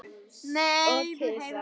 Og kisa.